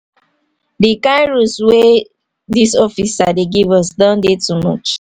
the kind rules wey this officer dey give us don too much